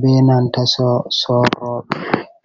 be nanta sorroɓe.